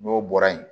N'o bɔra yen